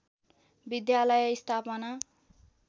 विद्यालय स्थापना